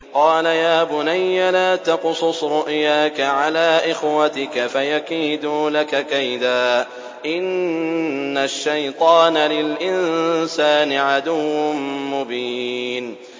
قَالَ يَا بُنَيَّ لَا تَقْصُصْ رُؤْيَاكَ عَلَىٰ إِخْوَتِكَ فَيَكِيدُوا لَكَ كَيْدًا ۖ إِنَّ الشَّيْطَانَ لِلْإِنسَانِ عَدُوٌّ مُّبِينٌ